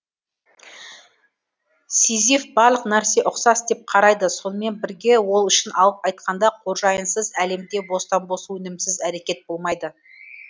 сизиф барлық нәрсе ұқсас деп қарайды сонымен бірге ол үшін алып айтқанда қожайынсыз әлемде бостан бос өнімсіз әрекет болмайды